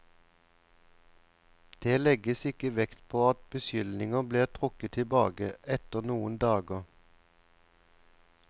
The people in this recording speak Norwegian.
Det legges ikke vekt på at beskyldningene ble trukket tilbake etter noen dager.